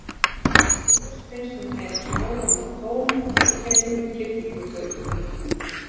Óljóst finnst henni hún heyra hjáróma tón í gegnum klukknahringinguna.